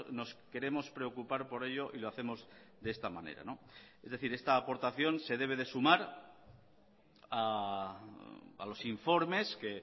nos queremos preocupar por ello y lo hacemos de esta manera es decir esta aportación se debe de sumar a los informes que